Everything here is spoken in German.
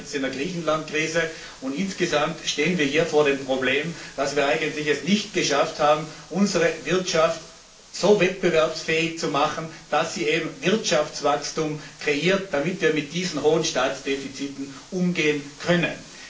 Wir sehen das jetzt in der Griechenland Krise, und insgesamt stehen wir hier vor dem Problem, dass wir es eigentlich nicht geschafft haben, unsere Wirtschaft so wettbewerbsfähig zu machen, dass sie eben Wirtschaftswachstum kreiert, damit wir mit diesen hohen Staatsdefiziten umgehen können.